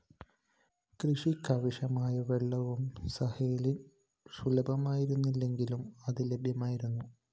കൃഷിക്കാവശ്യമായ വെള്ളവും സഹേലില്‍ സുലഭമായിരുന്നില്ലെങ്കിലും അത്‌ ലഭ്യമായിരുന്നു